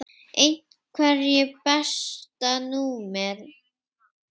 Einherji Besta númer?